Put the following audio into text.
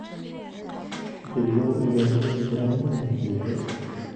billow iimaylka loo dirayo ninkeyga